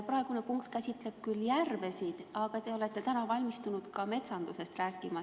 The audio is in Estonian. Praegune küsimus puudutab küll järvesid, aga te olete tänaseks valmistunud ka metsandusest rääkima.